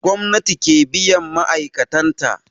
Gwamnati ke biyan ma'aikatan ta